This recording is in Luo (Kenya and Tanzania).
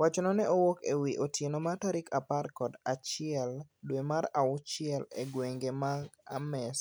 Wachno ne owuok e wi otieno mar tarik apar kod achiel dwe mar auchiel e gwenge ma Ames